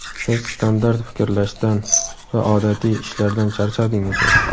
Siz standart fikirlashdan va odatiy ishlardan charchadingizmi?.